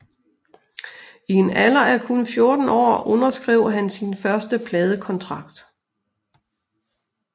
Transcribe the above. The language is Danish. I en alder af kun 14 år underskrev han sin første pladekontrakt